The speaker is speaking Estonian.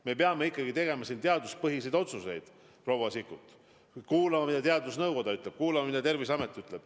Me peame tegema teaduspõhiseid otsuseid, proua Sikkut, kuulama, mida teadusnõukoda ütleb, kuulama, mida Terviseamet ütleb.